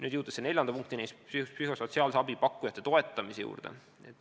Olen jõudnud neljanda punktini, psühhosotsiaalse abi pakkujate toetamiseni.